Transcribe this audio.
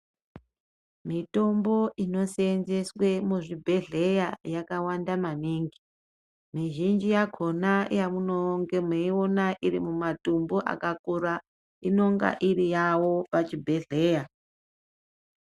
Mitombo inosenzeswe muzvibhedhlera yakawanda maningi mizhinji yakona yamunonga meiona iri mumatumbu akakura inonga iri yavo pachibhedhlera.